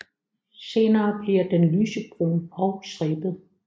Senere bliver den lysebrun og stribet